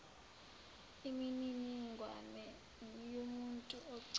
imininingwane yomuntu ocela